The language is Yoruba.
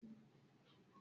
Ṣe loni ọjọ igbeyawo rẹ?